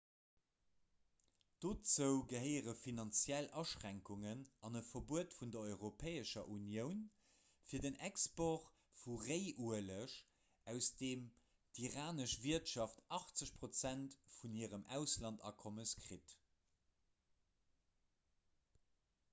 dozou gehéiere finanziell aschränkugnen an e verbuet vun der europäescher unioun fir den export vu réiueleg aus deem d'iranesch wirtschaft 80 % vun hirem auslandsakommes kritt